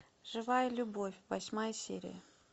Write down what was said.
живая любовь восьмая серия